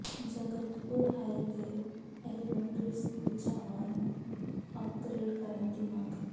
Jagatpur high ਤੇ elementary school Chawa ਨੰੂ upgrade ਕਰਨ ਦੀ ਮੰਗ